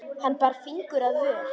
Hann bar fingur að vör.